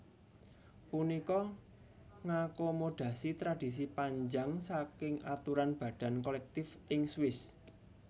Punika ngakomodasi tradisi panjang saking aturan badan kolektif ing Swiss